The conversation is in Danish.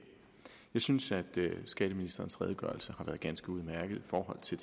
synes at skatteministerens redegørelse har været ganske udmærket i forhold til